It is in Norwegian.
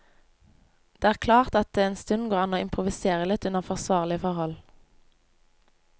Det er klart at det en stund går an å improvisere litt under forsvarlige forhold.